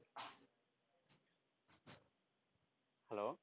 hello